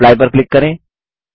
apply पर click करें